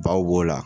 Baw b'o la